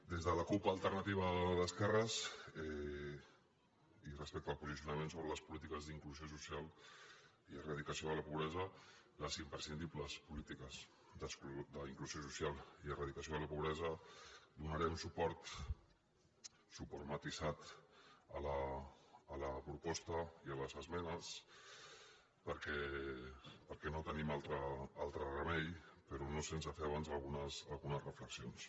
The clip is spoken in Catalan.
des de la cup alternativa d’esquerres i respecte al posicionament sobre les polítiques d’inclusió social i eradicació de la pobresa les imprescindibles polítiques d’inclusió social i eradicació de la pobresa donarem suport suport matisat a la proposta i a les esmenes perquè no tenim altre remei però no sense fer abans algunes reflexions